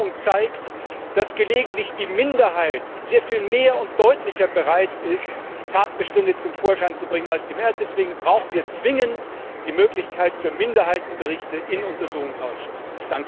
Aber die Erfahrung zeigt, dass gelegentlich die Minderheit sehr viel mehr und deutlicher bereit ist, Tatbestände zum Vorschein zu bringen, als die Mehrheit. Deswegen brauchen wir zwingend die Möglichkeit für Minderheitenberichte in Untersuchungsausschüssen.